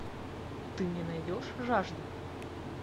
ты мне найдешь жажда